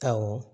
Awɔ